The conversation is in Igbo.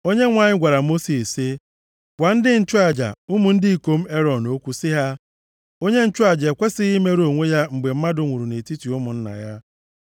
Onyenwe anyị gwara Mosis sị, “Gwa ndị nchụaja, ụmụ ndị ikom Erọn okwu sị ha, ‘Onye nchụaja ekwesighị imerụ onwe ya mgbe mmadụ nwụrụ nʼetiti ụmụnna ya.